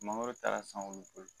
Mangoro taara san olu bolo